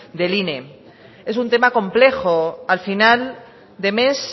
del inem es un tema complejo al final de mes